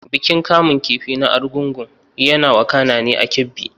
Bikin kamun kifi na Argungu yana wakana ne a Kebbi.